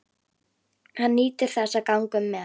Hann nýtur þess að ganga um með